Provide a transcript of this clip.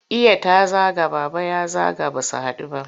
Iya ta zaga, Baba ya zaga ba su haɗu ba?